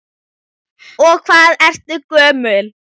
Og hvað ertu gömul?